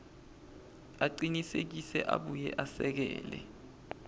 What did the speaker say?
acinisekise abuye esekele